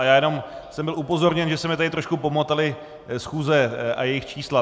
A já jenom jsem byl upozorněn, že se mi tady trošku pomotaly schůze a jejich čísla.